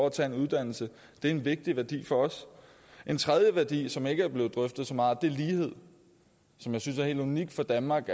at tage en uddannelse en vigtig værdi for os en tredje værdi som ikke er blevet drøftet så meget er lighed som jeg synes er helt unik for danmark